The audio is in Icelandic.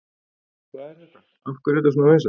Hvað er þetta, af hverju er þetta svona vinsælt?